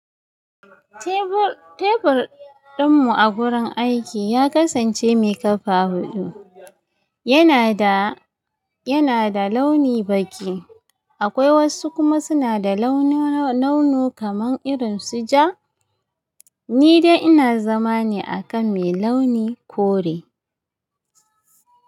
Tebur tebur ɗinmu a gurin aiki ya kasance mai ƙafa huɗu, yana da yana da launi baƙi. Akwai wasu kuma suna da launu launu kamar irin su ja. Ni dai ina zama ne a kan mai launi kore.